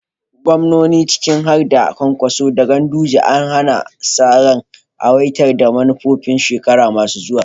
Gwamnoni ciki har da Kwankwaso da Ganduje ana sa ran aiwatar da manufofin shekaru masu zuwa.